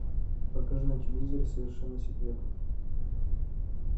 покажи на телевизоре совершенно секретно